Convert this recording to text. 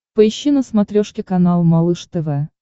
поищи на смотрешке канал малыш тв